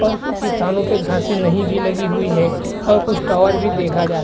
और कुछ स्थानो पे घासे नही भी लगी हुई है और कुछ टावर भी देखा जा --